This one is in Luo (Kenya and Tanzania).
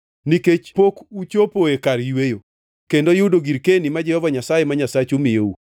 nikech pok uchopoe kar yweyo, kendo yudo girkeni ma Jehova Nyasaye ma Nyasachu miyou.